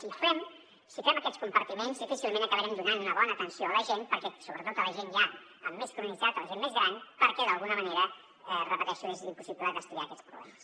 si ho fem si fem aquests compartiments difícilment acabarem donant una bona atenció a la gent sobretot a la gent ja amb més cronicitat a la gent més gran perquè d’alguna manera ho repeteixo és impossible destriar aquests problemes